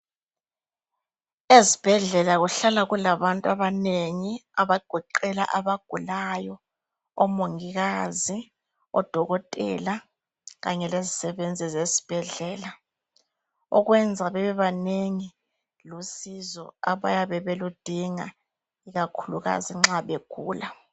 Ezibhedlela kuhlala kulabantu abanengi abagoqela abagulayo, omongikazi, odokotela kanye lezisebenzi zesibhedlela. Okwenza babebanengi lusizo abayabe beludinga ikakhulukazi nxa begula.